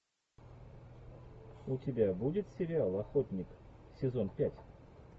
у тебя будет сериал охотник сезон пять